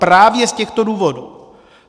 Právě z těchto důvodů.